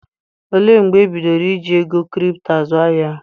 Olee mgbe e bidoro iji ego kripto azụ ahịa?